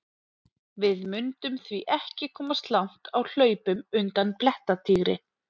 Við mundum því ekki komast langt á hlaupum undan blettatígri!